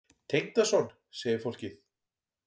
Tengdason? segir fólk.